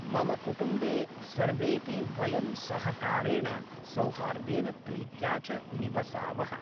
मम कुटुम्बे सर्वेपि वयं सहकारेण सौहार्देन प्रीत्या च निवसामः